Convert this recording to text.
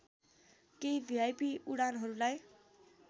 केही भिआइपी उडानहरूलाई